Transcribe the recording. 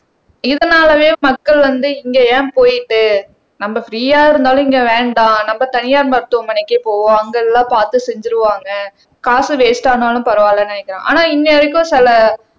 இதனாலவே மக்கள் வந்து இங்க ஏன் போயிட்டு நம்ம பிரீயா இருந்தாலும் இங்க வேண்டாம் நம்ம தனியார் மருத்துவமனைக்கே போவோம் அங்க எல்லாம் பாத்து செஞ்சுருவாங்க காசு வேஸ்ட் ஆனாலும் பரவாயில்லைன்னு நினைக்கிறேன் ஆனா வரைக்கும் சில